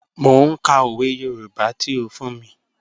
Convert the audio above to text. Mọ̀ n kà ọwẹ̀ Yorùbá tí ó fún mí.